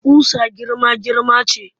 Ƙusa girma-girma ce